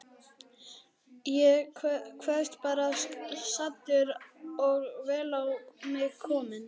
Ég kvaðst vera saddur og vel á mig kominn.